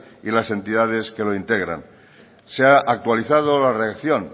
y las entidades que la integran se ha actualizado la redacción